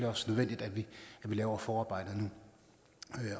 også nødvendigt at vi laver forarbejdet nu